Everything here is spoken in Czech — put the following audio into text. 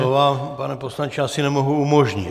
No to vám, pane poslanče, asi nemohu umožnit.